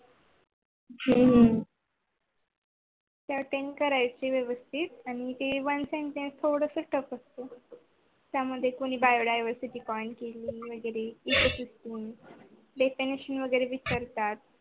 हू हू ह attend करायच व्यवस्तीत. आणि ते one time submit करायच त्याच्यामध्ये कोणी Biodiversity point quection वगेरे विचारतात.